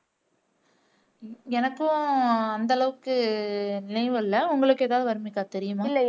எனக்கு அந்த அளவுக்கு நினைவில்லை உங்களுக்கு ஏதாவது வர்னிகா தெரியுமா